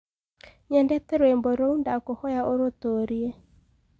nyendete rwĩmbo ruũ ndakũhoya urutuurie